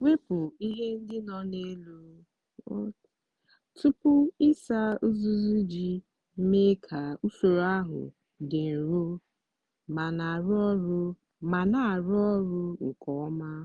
wepụ ihe ndị no na elu tupu ịsa uzuzu iji mee ka usoro ahụ dị nro ma na-arụ ọrụ nke ọma.